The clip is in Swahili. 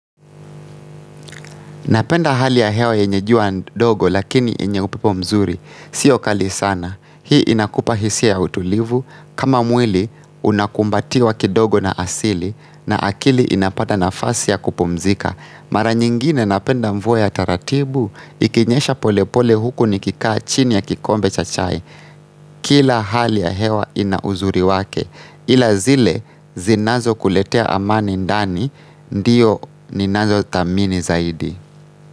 Napenda hali ya hewa yenye jua dogo lakini yenye upepo mzuri. Sio kali sana. Hii inakupa hisia ya utulivu. Kama mwili unakumbatiwa kidogo na asili. Na akili inapata nafasi ya kupumzika. Mara nyingine napenda mvua ya taratibu. Ikinyesha pole pole huku nikikaa chini ya kikombe cha chai. Kila hali ya hewa ina uzuri wake. Ila zile zinazo kuletea amani ndani. Ndiyo ninazo thamini zaidi.